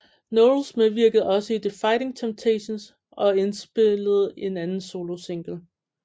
Knowles medvirkede også i The Fighting Temptations og indspillede en anden solosingle